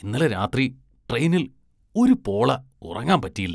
ഇന്നലെ രാത്രി ട്രെയിനില്‍ ഒരുപോള ഉറങ്ങാന്‍ പറ്റിയില്ല